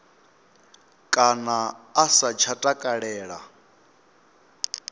kana a sa tsha takalela